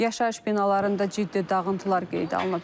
Yaşayış binalarında ciddi dağıntılar qeydə alınıb.